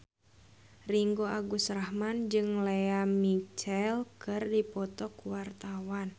Ringgo Agus Rahman jeung Lea Michele keur dipoto ku wartawan